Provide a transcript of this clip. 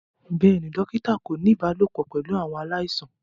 Bẹẹni, dokita ko ni ibalopọ pẹlu awọn alaisan.